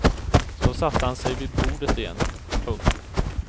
Så satte han sig vid bordet igen. punkt